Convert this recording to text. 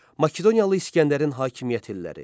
Makedoniyalı İsgəndərin hakimiyyət illəri.